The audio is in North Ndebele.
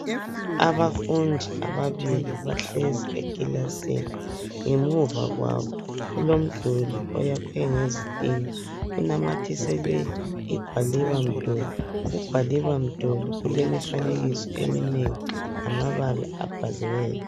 Abafundi ababili bahlezi ekilasini ngemuva kwabo kulomduli oyakhwe ngezitina. Unamathiselwe igwaliba mduli. Ugwaliba mduli ulemifanekiso eminengi lamabala abhaliweyo.